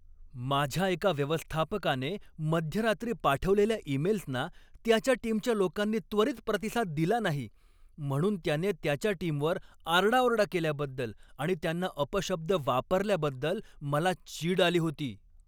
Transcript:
माझ्या एका व्यवस्थापकाने मध्यरात्री पाठवलेल्या ईमेल्सना त्याच्या टीमच्या लोकांनी त्वरित प्रतिसाद दिला नाही म्हणून त्याने त्याच्या टीमवर आरडाओरडा केल्याबद्दल आणि त्यांना अपशब्द वापरल्याबद्दल मला चीड आली होती.